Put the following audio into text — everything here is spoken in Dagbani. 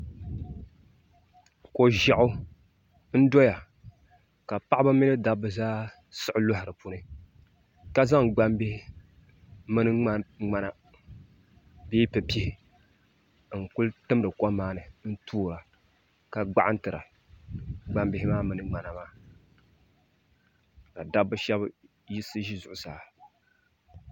Ko ʒiɛɣu n doya ka paɣaba mini dabba zaa siɣi loɣi di puuni ka zaŋ gbambihi mini ŋmana bee pipihi n kuli timdi kom maa ni n toora ka gbaɣantira gbambihi maa mini ŋmana maa ka shab yiɣisi ʒɛ zuɣusaa